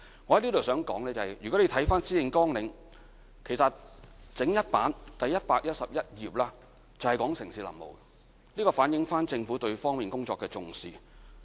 我在這裏想說的是，如果你看施政綱領，其實第111頁整整一頁就是有關城市林務的，這反映政府對這方面工作的重視。